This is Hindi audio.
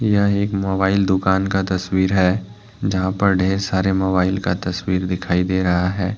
यह एक मोबाइल दुकान का तस्वीर है जहां पे ढेर सारे मोबाइल का तस्वीर दिखाई दे रहा है।